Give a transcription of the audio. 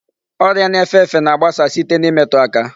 Ọrịa na-efe efe na-agbasa site n'imetu aka.